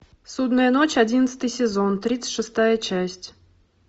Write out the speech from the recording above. судная ночь одиннадцатый сезон тридцать шестая часть